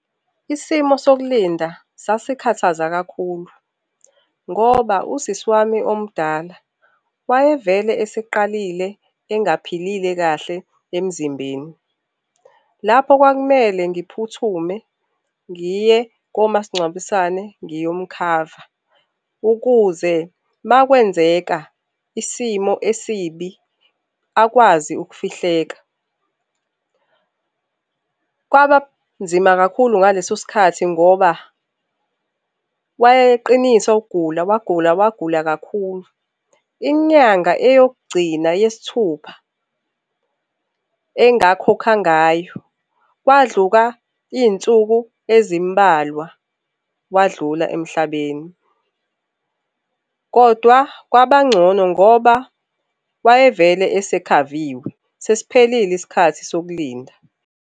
Isimo sokulinda sasikhathaza kakhulu ngoba usisi wami omdala wayevele eseqalile engaphilile kahle emzimbeni. Lapho kwakumele ngiphuthume ngiye komasingcwabisane ngiyomukhava ukuze makwenzeka isimo esibi akwazi ukufihleka. Kwabanzima kakhulu ngalesosikhathi ngoba wayeqinisa ukugula, wagula, wagula kakhulu. Inyanga eyokugcina yesithupha engakhokha ngayo kwadlula iy'nsuku ezimbalwa wadlula emhlabeni. Kodwa kwabangcono ngoba wayevele esekhaviwe, sesiphelile isikhathi sokulinda.